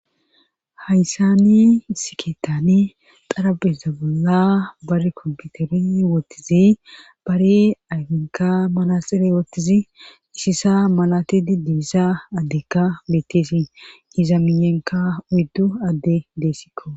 Hayssani sikeetani xarabeza bolla bar komputeri woottizi bari ayfinka malaxire woottizi isisa malatidi dibissa addekka betteesi iza miyenka uyddu adde deessikko